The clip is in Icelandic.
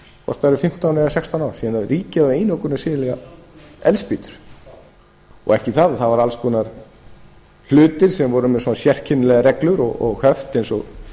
hvort það eru fimmtán eða sextán ár síðan ríkið var með einokun að selja eldspýtur ekki það það voru alls konar hlutir sem voru með svona sérkennilegar reglur og höft eins og